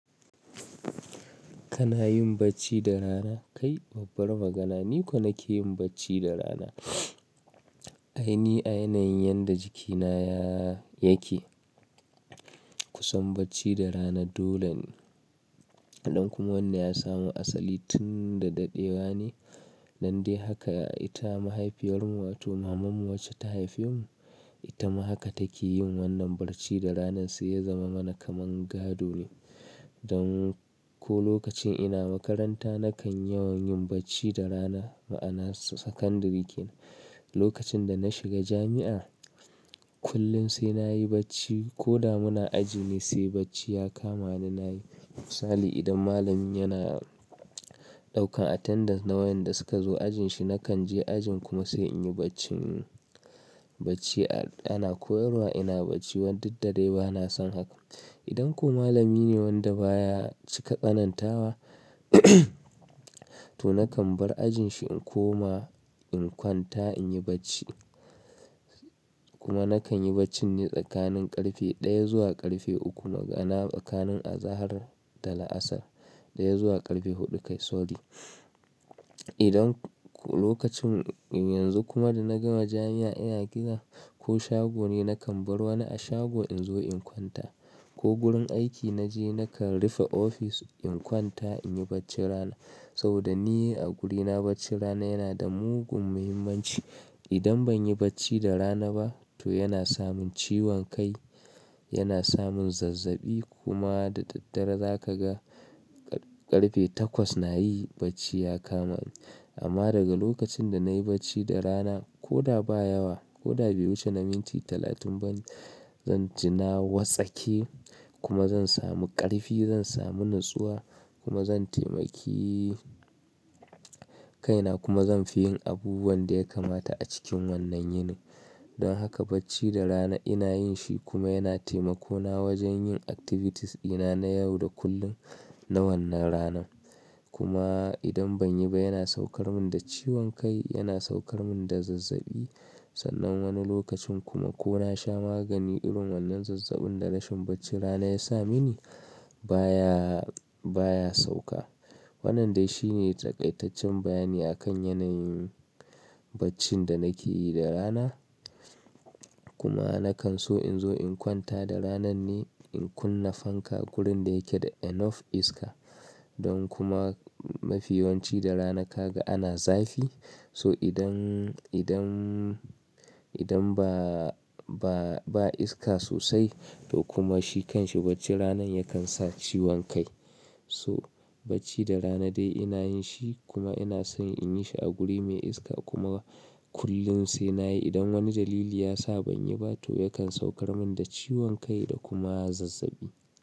Kana yin bacci da rana? Kai babbar magana. Ni ko nake yin bacci da rana. Aini a yanayin yadda jikina ya yake kusan bacci da rana dole ne. Idan kuma wannan ya samu asali tun da daɗewa ne, nan dai haka ita mahaifiyar mu wato mamanmu wacce ta haife mu, ita ma haka take yin wannan barci da rana sai ya zama mana kaman gaɗo. Don ko lokacin ina makaranta nakan yawan yin bacci da rana ma'ana sakandare kenan. Lokacin da na shiga jami'a kullum sai na yi bacci ko da muna aji ne sai bacci ya kama ni na yi. Misali idan malami yana ɗaukan attendance na wayanda suka zo ajin shi, nakan je ajin kuma sai in yi bacci. Bacci ana koyarwa ina bacci, wan daddare ba na san haka. Idan ko malami ne wanda baya cika ƙanantawa to nakan bar ajin shi in koma in kwanta in yi bacci. Kuma nakan yi bacci ne tsakanin ƙarfe ɗaya zuwa ƙarfe uku, magana tsakanin azahar da la'asar ɗaya zuwa ƙarfe huɗu kai sorry. Idan lokacin yanzu kuma da na gama jami'a ina gida ko shago ne nakan bar wani a shago in zo in kwanta. Ko gurin aiki naje nakan rufe ofis in kwanta in yi bacci rana. Saboda ni a gurina bacci rana yana da mugun muhimmanci. Idan ban yi bacci da rana ba to yana samun ciwon kai, yana samun zazzaɓi kuma da daddare zaka ga ƙarfe takwas na yi bacci ya kama ni. Amma daga lokacin da na yi bacci da rana ko da ba yawa ko da bai wuce na minti talatin ba ne, zan jinna wasake kuma zan samu ƙarfi, zan samu natsuwa kuma zan taimaki kaina kuma zan fi yin abubuwan da ya kamata a cikin wannan yini. Don haka bacci da rana ina yin shi kuma yana taimako na wajen yin activities dina na yau da kullum na wannan rana. Kuma idan ban yi ba yana saukar min da ciwon kai, yana saukar min da zazzaɓi. Sannan wani lokacin kuma ko na sha magani irin wannan zazzaɓin da rashin bacci rana ya sa mini baya, baya sauka. Wannan dai shine takaitaccen bayani akan yanayin baccin da nake yi da rana. Kuma nakan so in zo in kwanta da ranan ne in kunna fanka gurin da yake da enough iska. Don kuma mafiyawanci da rana kaga ana zafi. So idan, idan, idan ba, ba, ba iska sosai to kuma shi kanshi bacci ranan yakan sa ciwon kai. So bacci da rana dai ina yin shi kuma ina son in yi shi a guri mai iska kuma kullum sai na yi. Idan wani dalili ya sa ban yi ba to yakan saukar min da ciwon kai da kuma zazzaɓi.